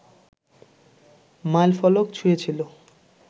মাইলফলক ছুঁয়েছিল